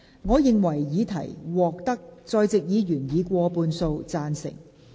我認為議題獲得在席議員以過半數贊成。